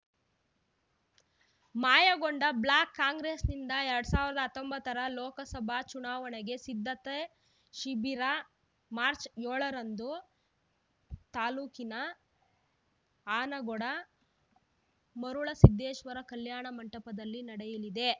Mayakonda block ಕಾಂಗ್ರೆಸ್‌ನಿಂದ ಎರಡ್ ಸಾವಿರದ ಹತ್ತೊಂಬತ್ತರ ಲೋಕಸಭಾ ಚುನಾವಣೆ ಸಿದ್ಧತಾ ಶಿಬಿರ ಮಾರ್ಚ್ ಏಳರಂದು ತಾಲೂಕಿನ ಆನಗೋಡು ಮರುಳಸಿದ್ದೇಶ್ವರ ಕಲ್ಯಾಣ ಮಂಟಪದಲ್ಲಿ ನಡೆಯಲಿದೆ